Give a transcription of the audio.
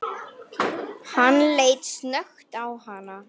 Hann leit snöggt á hana.